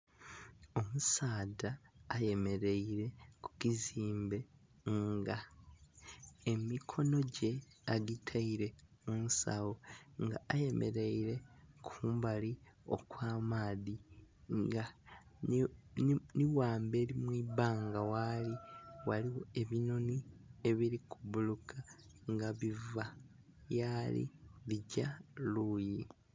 Omusaadha ayemereire ku kizimbe nga emikono gye agitaire kunsagho nga ayemereire kumbali okwa maadhi nga nhi ghamberi mwibanga ghali ghaligho ebinhonhi ebiri ku buuluka nga biva yali bigya luyi.